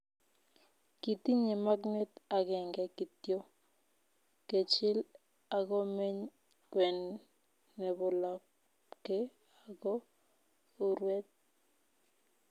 Kitinye magnet agenge kityo, kechil agomeny kwen nebo labke ago urwet